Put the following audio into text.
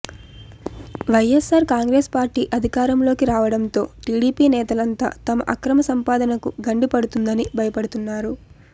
YSR Congress party అధికారంలోకి రావడంతో TDP నేతలంతా తమ అక్రమ సంపాదనకు గండి పడుతుందని భయపడుతున్నారు